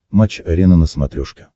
матч арена на смотрешке